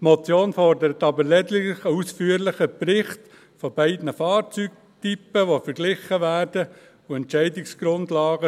Die Motion fordert aber lediglich einen ausführlichen Bericht zu beiden Fahrzeugtypen, die verglichen werden sollen.